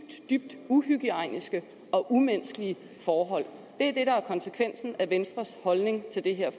dybt uhygiejniske og umenneskelige forhold det er det der er konsekvensen af venstres holdning til det her